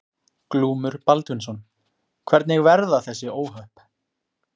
Glúmur Baldvinsson: Hvernig verða þessi óhöpp?